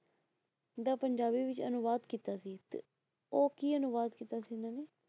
ਦਾ ਪੰਜਾਬੀ ਵਿੱਚ ਅਨੁਵਾਦ ਕੀਤਾ ਸੀ ਉਹ ਕੀ ਅਨੁਵਾਦ ਕੀਤਾ ਸੀ ਇਹਨਾਂ ਨੇ,